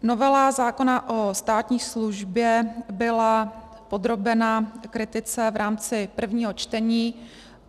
Novela zákona o státní službě byla podrobena kritice v rámci prvního čtení.